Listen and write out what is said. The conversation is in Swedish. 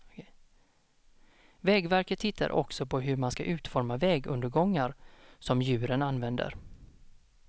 Vägverket tittar också på hur man ska utforma vägundergångar som djuren använder.